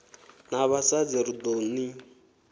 na vhasadzi ri ḓo ni